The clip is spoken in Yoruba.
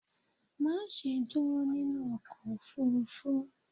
ma ṣe dúró nínú ọkọ̀ òfurufú!